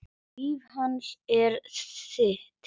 Líf hans er þitt.